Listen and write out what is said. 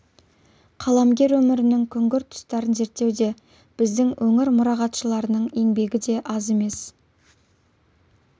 қаламгер өмірінің күңгірт тұстарын зерттеуде біздің өңір мұрағатшыларының да еңбегі аз емес